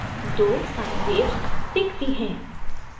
दो sine waves बनती हैं